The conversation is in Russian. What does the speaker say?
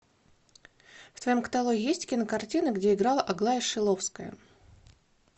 в твоем каталоге есть кинокартины где играла аглая шиловская